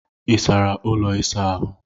Ị sara ụlọ ịsa ahụ?